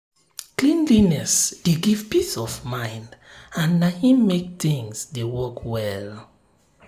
cleanliness dey give peace of mind and na em make thing dey work well